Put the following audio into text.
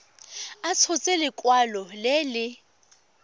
a tshotse lekwalo le le